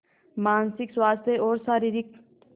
मानसिक स्वास्थ्य और शारीरिक स्